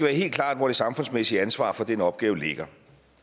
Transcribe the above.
helt klart hvor det samfundsmæssige ansvar for den opgave ligger